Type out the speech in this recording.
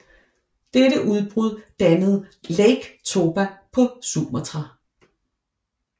Dette udbrud dannede Lake Toba på Sumatra